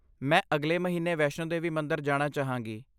ਮੈਂ ਅਗਲੇ ਮਹੀਨੇ ਵੈਸ਼ਨੋ ਦੇਵੀ ਮੰਦਰ ਜਾਣਾ ਚਾਹਾਂਗੀ।